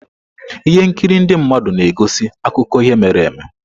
Ihe nkiri ndị mmadụ na-egosi akụkọ ihe mere eme.